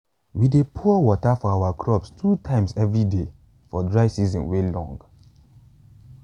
we dey pour water for our crops two times every day for dry season way long